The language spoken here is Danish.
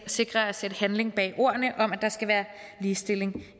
sikrer at sætte handling bag ordene om at der skal være ligestilling